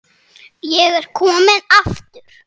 Er ég kominn aftur?